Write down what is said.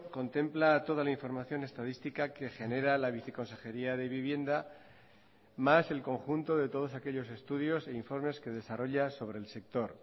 contempla toda la información estadística que genera la viceconsejería de vivienda más el conjunto de todos aquellos estudios e informes que desarrolla sobre el sector